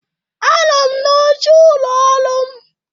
Anọ m n'oche ụlọ ọrụ m.